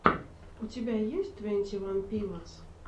у тебя есть твенти ван пилотс